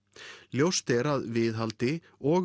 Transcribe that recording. ljóst er að viðhaldi og